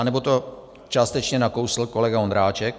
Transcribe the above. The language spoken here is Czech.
Anebo to částečně nakousl kolega Ondráček.